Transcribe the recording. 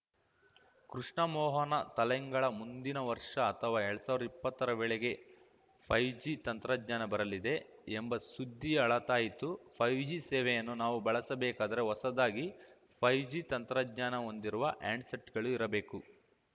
ಕೃಷ್ಣಮೋಹನ ತಲೆಂಗಳ ಮುಂದಿನ ವರ್ಷ ಅಥವಾಎರಡ್ ಸಾವಿರ್ದಾ ಇಪ್ಪತ್ತರ ವೇಳೆಗೆ ಫೈವ್ ಜಿ ತಂತ್ರಜ್ಞಾನ ಬರಲಿದೆ ಎಂಬ ಸುದ್ದಿ ಹಳತಾಯಿತು ಫೈವ್ ಜಿ ಸೇವೆಯನ್ನು ನಾವು ಬಳಸಬೇಕಾದರೆ ಹೊಸದಾಗಿ ಫೈವ್ ಜಿ ತಂತ್ರಜ್ಞಾನ ಹೊಂದಿರುವ ಹ್ಯಾಂಡ್‌ಸೆಟ್‌ಗಳು ಇರಬೇಕು